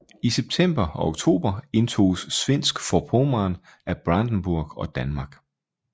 I september og oktober indtoges Svensk Forpommern af Brandenburg og Danmark